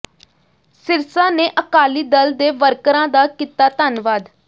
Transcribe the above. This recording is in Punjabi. ਸਿਰਸਾ ਨੇ ਅਕਾਲੀ ਦਲ ਦੇ ਵਰਕਰਾਂ ਦਾ ਕੀਤਾ ਧੰਨਵਾਦ